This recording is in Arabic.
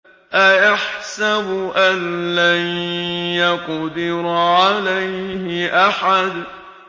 أَيَحْسَبُ أَن لَّن يَقْدِرَ عَلَيْهِ أَحَدٌ